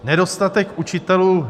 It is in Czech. Nedostatek učitelů.